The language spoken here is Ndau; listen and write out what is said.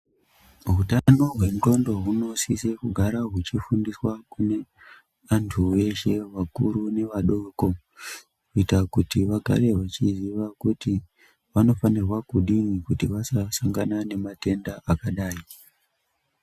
Hutano hwendxondo hunosise kugara huchifundiswa kune antu eshe, akuru nevadoko. Kuita kuti vagare vachiziva kuti vanofanirwa kudini kana vasangana nematenda akadai.